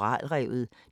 DR2